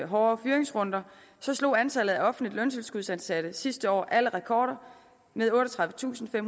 hårde fyringsrunder slog antallet af offentligt løntilskudsansatte sidste år alle rekorder med otteogtredivetusinde og